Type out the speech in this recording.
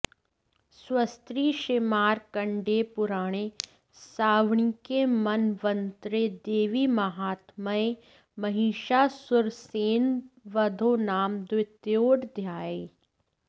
स्वस्ति श्रीमार्कण्डेयपुराणे सावर्णिके मन्वन्तरे देवीमाहात्म्ये महिषासुरसैन्यवधो नाम द्वितीयोऽध्यायः